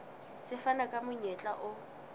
se fana ka monyetla o